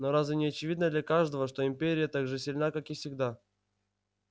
но разве не очевидно для каждого что империя так же сильна как и всегда